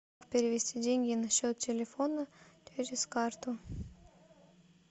перевести деньги на счет телефона через карту